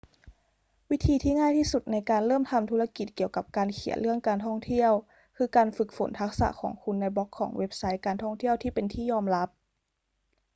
วิธีที่ง่ายที่สุดในการเริ่มทำธุรกิจเกี่ยวกับการเขียนเรื่องการท่องเที่ยว คือการฝึกฝนทักษะของคุณในบล็อกของเว็บไซต์การท่องเที่ยวที่เป็นที่ยอมรับ